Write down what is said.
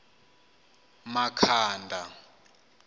makhanda